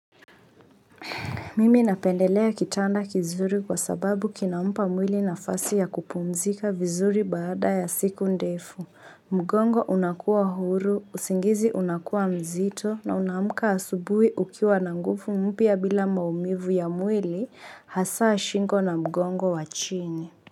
Mimi napendelea kitanda kizuri kwa sababu kina mpa mwili na fasi ya kupumzika vizuri baada ya siku ndefu. Mgongo unakuwa huru, usingizi unakuwa mzito na unamka asubuhi ukiwa na nguvu mpya bila maumivu ya mwili hasaa shingo na mgongo wachini.